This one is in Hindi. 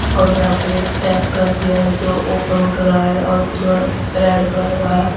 और यहां पे एक ट्रैक्टर भी है जो ऊपर उठ रहा है और जो रेड कलर का है।